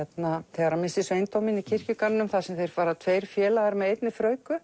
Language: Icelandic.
þegar hann missir sveindóminn í kirkjugarðinum þar sem þeir fara tveir félagar með einni